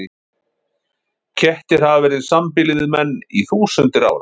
Kettir hafa verið í sambýli við menn í þúsundir ára.